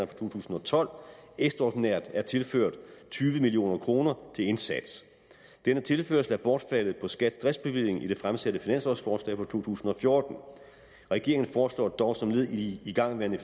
for to tusind og tolv ekstraordinært er tilført tyve million kroner til indsats denne tilførsel er bortfaldet på skats driftsbevilling i det fremsatte finanslovsforslag for to tusind og fjorten regeringen foreslår dog som led i de igangværende